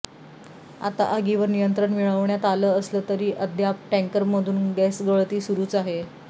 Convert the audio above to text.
आता आगीवर नियंत्रण मिळवण्यात आलं असलं तरी अद्याप टँकरमधून गॅसगळती सुरूच आहे